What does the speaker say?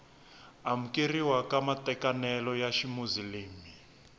amukeriwa ka matekanelo ya ximuzilimi